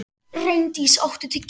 Reyndís, áttu tyggjó?